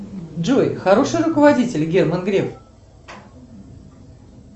джой хороший руководитель герман греф